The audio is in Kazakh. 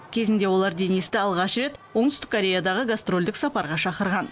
кезінде олар денисті алғаш рет оңтүстік кореядағы гастрольдік сапарға шақырған